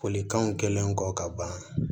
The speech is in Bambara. Folikanw kɛlen kɔ ka ban